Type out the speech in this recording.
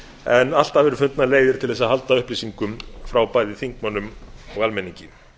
en alltaf eru fundnar leiðir til að halda upplýsingum frá bæði þingmönnum og almenningi